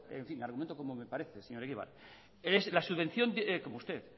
en fin argumento como me parece señor egibar como usted